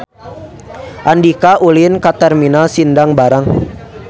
Andika ulin ka Terminal Sindang Barang